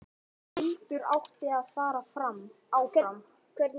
Hildur átti að fara áfram!